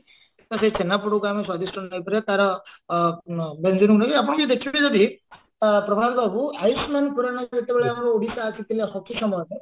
ତ ସେଇ ଛେନାପୋଡକୁ ଆମେ suggestion ନେଇପାରିବା ତାର ଆ ବ୍ୟଞ୍ଜନକୁ ନେଇକି ଆପଣ ବି ଦେଖିବେ ଯଦି ଆ ପ୍ରଭାତ ବାବୁ ଆୟୁଷ୍ମାନ ଖୁରାନା ଯେତେବେଳେ ଆମ ଓଡିଶା ଆସିୟହିଲେ ପାଇଁ